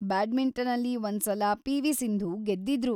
ಬ್ಯಾಡ್ಮಿಂಟನಲ್ಲಿ, ಒಂದ್ಸಲ ಪಿ.ವಿ. ಸಿಂಧು ಗೆದ್ದಿದ್ರು.